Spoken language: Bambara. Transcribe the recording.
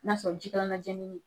N'a y'a sɔrɔ jikalannajeneni ni